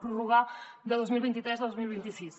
prorrogar de dos mil vint tres a dos mil vint sis